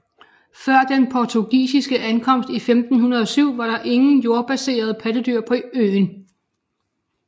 Før den portugisiske ankomst i 1507 var der ingen jordbaserede pattedyr på øen